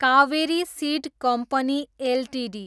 Kaveri seed company Ltd